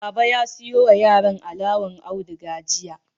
Baba ya siyo ma yaran alawar auduga jiya.